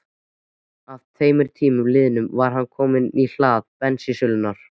Að tveimur tímum liðnum var hann kominn í hlað bensínsölunnar.